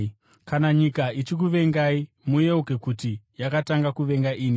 “Kana nyika ichikuvengai, muyeuke kuti yakatanga kuvenga ini.